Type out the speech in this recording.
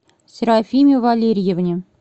серафиме валерьевне